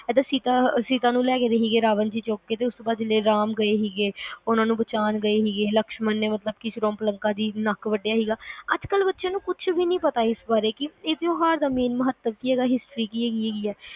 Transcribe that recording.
ਆ ਜਦੋ ਸੀਤਾ ਨੂੰ ਲੈਗੇ ਸੀ ਰਾਵਣ ਜੀ ਚੁੱਕ ਕੇ ਉਸ ਤੋਂ ਬਾਅਦ ਰਾਮ ਜੀ ਗਏ ਸੀਗੇ ਬਚਾਉਣ ਗਏ ਸੀਗੇ ਲਕਸ਼ਮਣ ਜੀ ਨੇ ਸ੍ਵਰੂਪਲਾਖਾ ਦਾ ਨੱਕ ਵੱਡਿਆਂ ਸੀਗਾ ਅੱਜ ਕੱਲ ਬੱਚਿਆਂ ਨੂੰ ਕੁਜ ਵੀ ਨੀ ਪਤਾ ਇਸ ਬਾਰੇ ਇਸ ਤਿਉਹਾਰ ਦਾ ਮਹੱਤਵ ਕੀ ਆ history ਕੀ ਹੈਗੀ